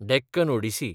Deccan Odissi